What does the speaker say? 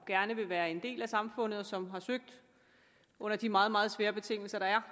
gerne vil være en del af samfundet og som har søgt under de meget meget svære betingelser der er